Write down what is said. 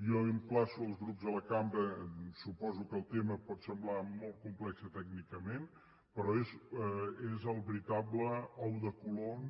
jo emplaço els grups de la cambra suposo que el tema pot semblar molt complex tècnicament però és el veritable ou de colom